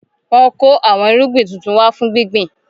Wọn kò àwọn irúgbìn tuntun wá fún gbíngbin